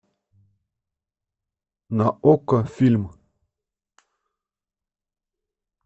на окко фильм